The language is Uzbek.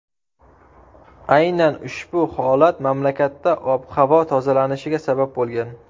Aynan ushbu holat mamlakatda ob-havo tozalanishiga sabab bo‘lgan.